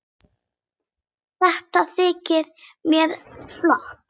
Þetta þykir mér flott!